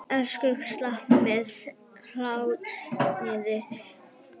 Ökumaður slapp með lítilsháttar meiðsl